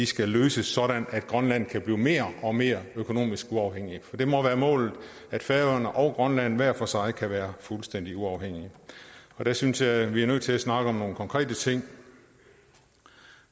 skal løses sådan at grønland kan blive mere og mere økonomisk uafhængig for det må være målet at færøerne og grønland hver for sig kan være fuldstændig uafhængige og der synes jeg vi er nødt til at snakke om nogle konkrete ting